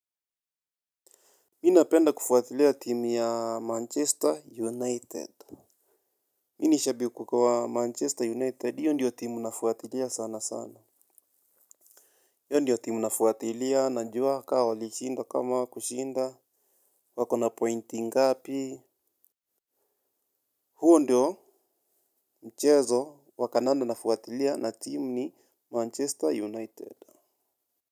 Mi napenda kufuatilia timu ya Manchester United. Mi nishabi kukawa Manchester United yondiyo timu nafuatilea sana sana. Yondiyo timu nafuatilia na njua kaa walishinda kama hawakushinda. Wakona pointi ngapi. Huo ndiyo mchezo wakandanda nafuatilia na timu ni Manchester United it.